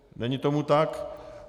Není tomu tak.